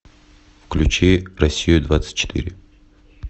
включи россию двадцать четыре